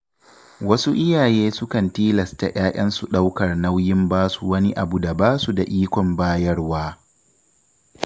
Wasu iyaye sukan tilasta ‘ya‘yansu ɗaukar nauyin basu wani abu da ba su da ikon bayarwa.